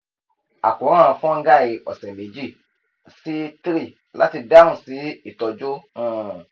akoran fungal ọsẹ meji si three lati dahun si itọju um